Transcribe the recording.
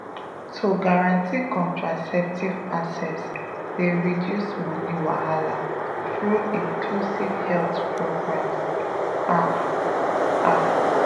to guarantee contraceptive access dey reduce money wahala through inclusive health programs ah ah.